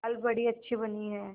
दाल बड़ी अच्छी बनी है